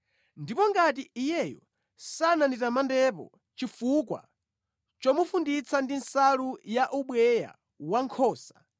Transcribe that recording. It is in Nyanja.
ndipo ngati iyeyo sananditamandepo chifukwa chomufunditsa ndi nsalu ya ubweya wankhosa,